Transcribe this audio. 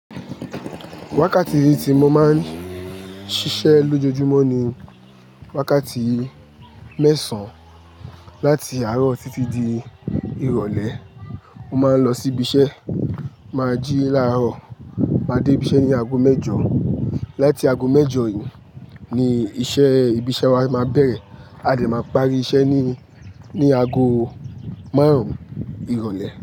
Wákàtí tí mo máa ń ṣiṣẹ́ lójoojúmọ́ ni wákàtí mẹ́sàn-án láti àárọ̀ títí di ìrọ̀lẹ́. Mo máa ń lọ sí ibi iṣẹ́ ma jí láàárọ̀, máa dé ibi iṣẹ́ ní ago mẹ́jọ. Láti ago mẹ́jọ ni iṣẹ́ ibi iṣẹ́ wa máa bẹ̀rẹ̀. A dè máa parí iṣẹ́ ní, ní ago márùn-ún ìrọ̀lẹ́